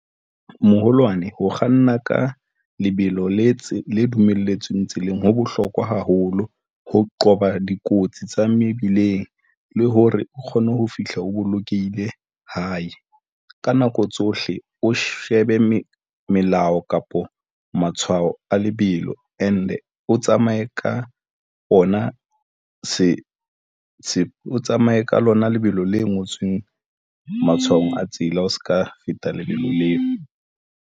Moholwane, ho kganna ka lebelo le tse dumelletsweng tseleng ho bohlokwa haholo ho qoba dikotsi tsa mebileng le hore o kgone ho fihla o bolokehile hae ka nako tsohle, o shebe melao kapa matshwao a lebelo and-e o tsamaye ka ona, se se tsamaye ka lona lebelo le ngotsweng matshwao a tsela, o se ka feta lebelo leo.